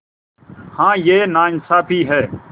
हाँ यह नाइंसाफ़ी है